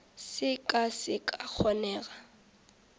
se ka se sa kgona